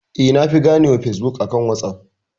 Eh na fi gane wa Fesbuk akan wasuf